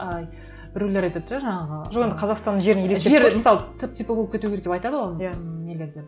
ыыы біреулер айтады ше жаңағы жоқ енді қазақстанның жері түп типі болып кету керек деп айтады ғой иә ммм нелерде